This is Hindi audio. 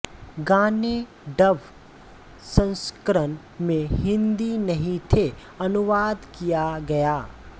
गाने डब संस्करण में हिंदी नहीं थे अनुवाद किया गया